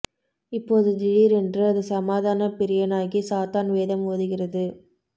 இப்போது திடீரென்று அது சமாதானப் பிரியனாகி சாத்தான் வேதம் ஓதுகிறது